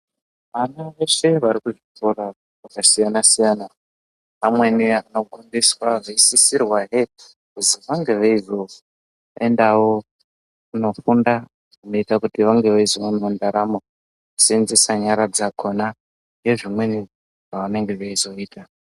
Vana veshe vari kuzvikora zvakasiyana siyana, vamweni vanofundiswa vanosisirwahe kuti vange veizoendawo kunofunda zvinozoite kuti vange veizoonawo ndaramo. Kuseenzesa nyara dzakhona nezvimweni zvavanenge veizoita.